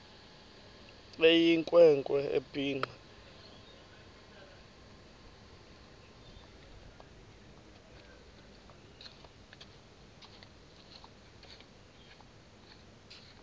eyinkwe nkwe ebhinqe